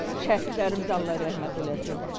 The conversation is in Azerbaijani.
Şəhidlərimizi Allah rəhmət eləsin.